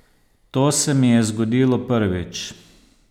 To se mi je zgodilo prvič.